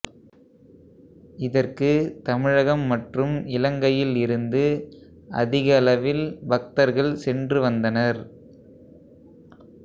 இதற்கு தமிழகம் மற்றும் இலங்கையில் இருந்து அதிகளவில் பக்தர்கள் சென்று வந்தனர்